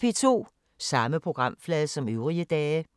Samme programflade som øvrige dage